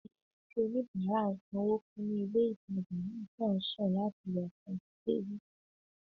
Níṣe ni ẹni tí oníbàárà ń sanwó fún ní ilé-ìtàjà náà kàn ń sùn láti ìgbà tí a ti débí